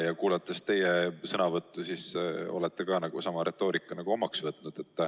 Ja kuulates teie sõnavõttu, jääb mulje, et te olete ka ise sama retoorika omaks võtnud.